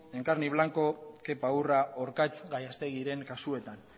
en carne y blanco kepa urra orkatz gallastegiren kasuetan